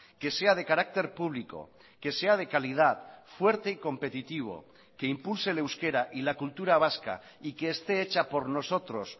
que sea de carácter público que sea de calidad fuerte y competitivo que impulse el euskera y la cultura vasca y que esté hecha por nosotros